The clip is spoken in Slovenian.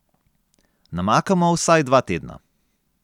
Namakamo vsaj dva tedna.